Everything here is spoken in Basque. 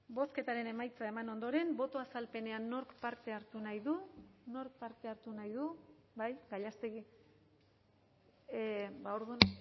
bozketaren emaitza eman ondoren boto azalpenean nork parte hartu nahi du nork parte hartu nahi du bai gallastegui orduan